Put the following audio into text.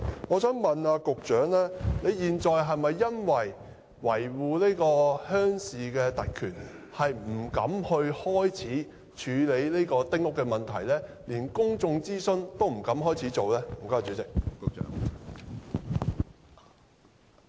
我想問局長，現在是否為了維護鄉郊特權，而不敢着手處理丁屋的問題，連公眾諮詢也不敢展開呢？